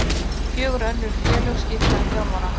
Fjögur önnur félög skipta um þjálfara